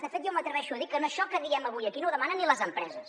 de fet jo m’atreveixo a dir que això que diem avui aquí no ho demanen ni les empreses